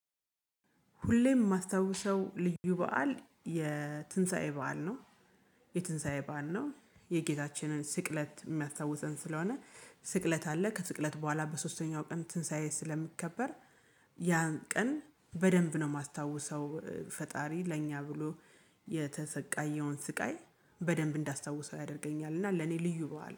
ሁሌም የማስታውሰው ልዩ በዓል የትንሳኤ በዓል ነው። የትንሳኤ በዓል ነው የጌታችንን ስቅለት የሚያስታውሰን ስለሆነ ስቅለት አለ ከስቅለት በኋላ በሶስተኛው ቀን ትንሳኤ ስለሚከበር ያን ቀን በደንብ ነው የማስታውሰው ፈጣሪ ለእኛ ብሎ የተሰቃየውን ስቃይ በደንብ እንዳስታውሰው ያደርገኛል እና ለኔ ልዩ በኋላ